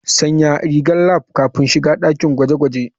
Sanya rigar lab kafin shiga dakin gwaje-gwaje.